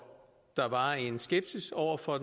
der var en skepsis over for